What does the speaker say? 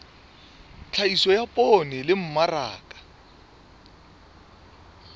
tlhahiso ya poone le mmaraka